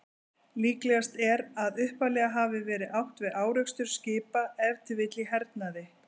Líklegast er að upphaflega hafi verið átt við árekstur skipa, ef til vill í hernaði.